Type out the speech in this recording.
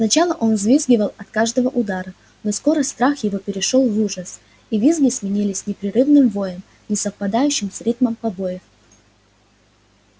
сначала он взвизгивал от каждого удара но скоро страх его перешёл в ужас и визги сменились непрерывным воем не совпадающим с ритмом побоев